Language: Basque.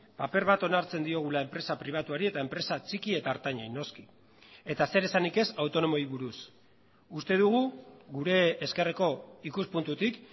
paper bat onartzen diogula enpresa pribatuari eta enpresa txiki eta ertainei noski eta zeresanik ez autonomoei buruz uste dugu gure ezkerreko ikuspuntutik